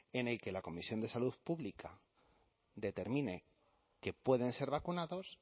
en que la comisión de salud pública determine que pueden ser vacunados